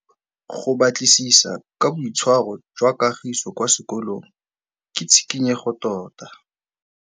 Go batlisisa ka boitshwaro jwa Kagiso kwa sekolong ke tshikinyêgô tota.